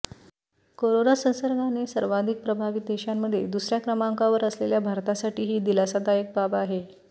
corona संसर्गाने सर्वाधिक प्रभावित देशांमध्ये दुसऱ्या क्रमांकावर असलेल्या भारतासाठी ही दिलासादायक बाब आहे